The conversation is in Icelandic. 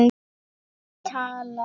Sem talar.